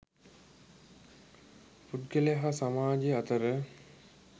පුද්ගලයා හා සමාජය අතර